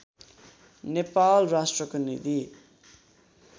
नेपाल राष्ट्रको निधि